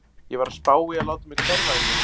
Ég var að spá í að láta mig hverfa í nótt.